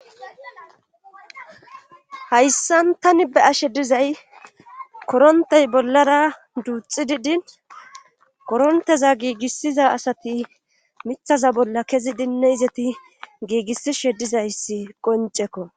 hayssan tani be'ashe dizay korontey bollara duuxidi din koronteza giigissiza asati mithaza bolla kezi dinne izeti giigissishe dizayssi qoncekko